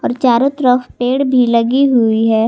चारों तरफ पेड़ भी लगी हुई है।